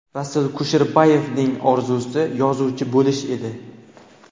Rasul Kusherbayevning orzusi yozuvchi bo‘lish edi.